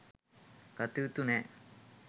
ගතයුතු නෑ.